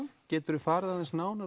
geturðu farið aðeins nánar